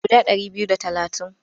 Guda ɗari biyu da talatin.